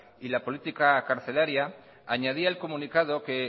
y la política carcelaria añadía el comunicado que